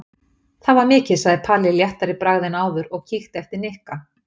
Það var mikið sagði Palli léttari í bragði en áður og kíkti eftir Nikka.